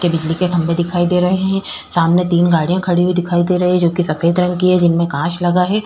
के बिजली के खम्भे दिखाई दे रहे है सामने तीन गाड़िया खड़ी हुई दिखाई दे रही है जो की सफ़ेद रंग की है जिनमे कांच लगा है।